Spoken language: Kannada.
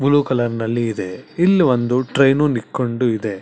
ಮುಲು ಕಲರ್ ನಲ್ಲಿ ಇದೆ ಇಲ್ಲಿ ಒಂದು ಟ್ರೇನು ನಿತ್ಕೊಂಡು ಇದೆ.